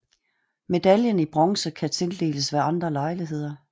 Medaljen i Bronze kan tildeles ved andre lejligheder